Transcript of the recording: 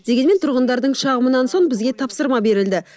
дегенмен тұрғындардың шағымынан соң бізге тапсырма берілді